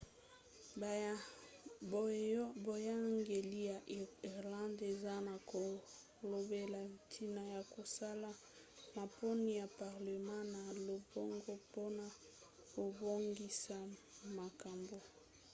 boyangeli ya irlande eza na kolobela ntina ya kosala maponi ya parlema na lombango mpona kobongisa makambo